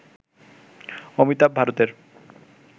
অমিতাভ ভারতের